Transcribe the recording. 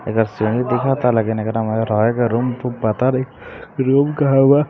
इधर सारी लगता रूम पता नही रूम कहा बा --